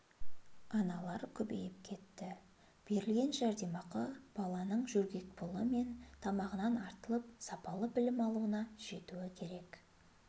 аналар көбейіп кетті берілген жәрдемақы баланыың жөргекпұлы мен тамағынан артылып сапалы білім алуына жетуі керек